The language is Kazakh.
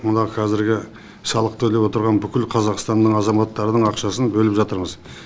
мына қазіргі салық төлеп отырған бүкіл қазақстанның азаматтарының ақшасын бөліп жатырмыз